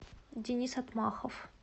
денис отмахов